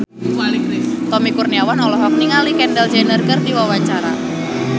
Tommy Kurniawan olohok ningali Kendall Jenner keur diwawancara